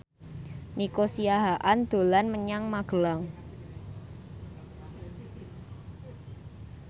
Nico Siahaan dolan menyang Magelang